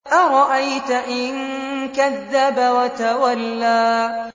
أَرَأَيْتَ إِن كَذَّبَ وَتَوَلَّىٰ